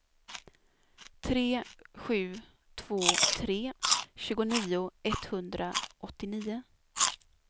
tre sju två tre tjugonio etthundraåttionio